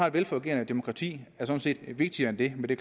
et velfungerende demokrati sådan set vigtigere end det men det